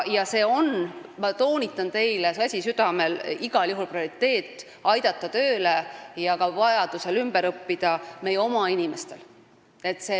Ma toonitan, käsi südamel, et see on igal juhul prioriteet: aidata meie oma inimesi tööle ja vajadusel aidata neil ümber õppida.